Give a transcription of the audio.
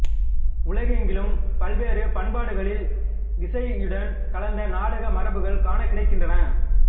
உலகெங்கிலும் பல்வேறு பண்பாடுகளில் இசையுடன் கலந்த நாடக மரபுகள் காணக்கிடைக்கின்றன